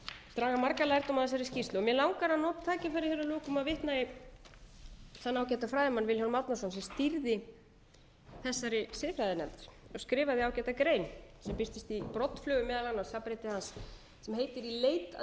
draga marga lærdóma af þessari skýrslu mig langar að nota tækifærið að lokum að vitna í þann ágæta fræðimann vilhjálm árnason sem stýrði þessari siðfræðinefnd hann skrifaði ágæta grein sem birtist í broddflugum meðal annars safnriti hans sem heitir í leit að